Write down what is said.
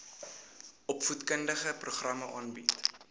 opvoedkundige programme aanbied